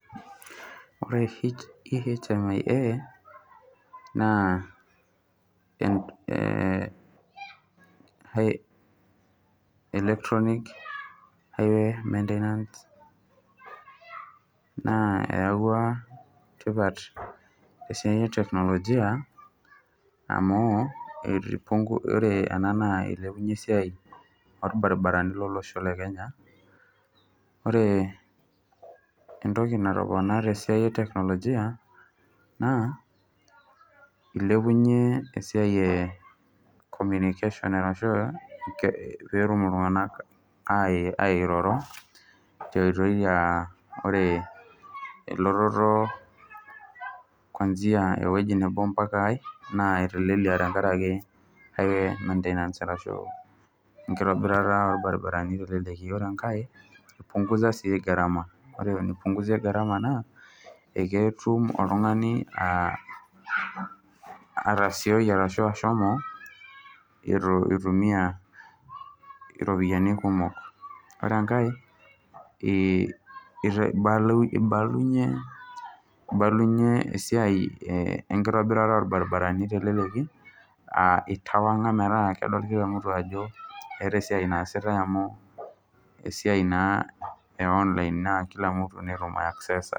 Ore eHMI naa electronic highway maintenance naa eawua tipat te siai eteknolojia amuu ore ena naa elepunye esiai orbaribarani le losho le Kenya, ore entoki natopona te siai eteknolojia naa eilepunye esiai e communication petum iltunganak airoro te nkoitoi aa ore ilototo eteknolojia empaka neidim aitelelie tengaraki ake maintenance tengaraki nkitobirata orbaribarani teleleki, ore engae eipungusa sii garama, eipungusie garama naa eketum oltungani atasioi arashu ashomo eitu eitumiya iropiyiani kumok. Ore enkae eibalunye, eibalunye esiai enkitobirata olbaribarani teleleki aa eitawua metaa kedol kila mtu ajo esiai naasitae amu esiai naa e online naa kila mtu netumoki aiaccesa.